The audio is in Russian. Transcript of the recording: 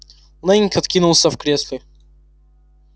лэннинг откинулся в кресле